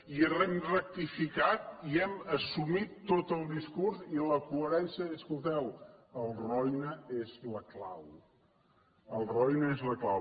i hem rectificat i hem assumit tot el discurs i la coherència de dir escolteu el roine és la clau el roine és la clau